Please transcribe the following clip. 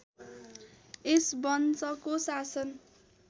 यस वंशको शासन